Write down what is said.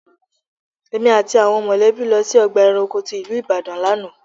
Èmi àti àwọn mọ̀lẹ́bí lọ sí ọgbà ẹranko tí ìlú Ìbàdàn lánàá.